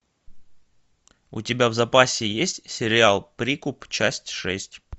у тебя в запасе есть сериал прикуп часть шесть